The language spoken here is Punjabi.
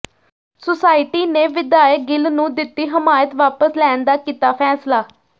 ਸੁਸਾਇਟੀ ਨੇ ਵਿਧਾਇਕ ਗਿੱਲ ਨੂੰ ਦਿੱਤੀ ਹਮਾਇਤ ਵਾਪਸ ਲੈਣ ਦਾ ਕੀਤਾ ਫੈਸਲਾ